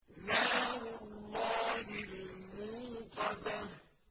نَارُ اللَّهِ الْمُوقَدَةُ